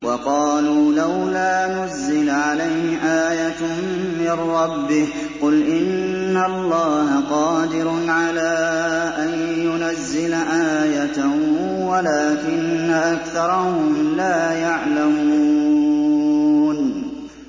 وَقَالُوا لَوْلَا نُزِّلَ عَلَيْهِ آيَةٌ مِّن رَّبِّهِ ۚ قُلْ إِنَّ اللَّهَ قَادِرٌ عَلَىٰ أَن يُنَزِّلَ آيَةً وَلَٰكِنَّ أَكْثَرَهُمْ لَا يَعْلَمُونَ